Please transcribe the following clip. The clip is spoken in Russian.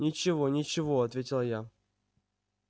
ничего ничего ответила я